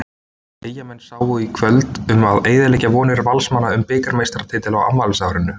Eyjamenn sáu í kvöld um að eyðileggja vonir Valsmanna um bikarmeistaratitilinn á afmælisárinu.